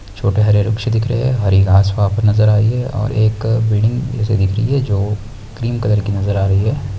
छोटे हरे दिख रही है हरी घास वहाँ पे नज़र आ रही है और एक बिलडिंग दिख रही है जो क्रीम कलर की नज़र आ रही है।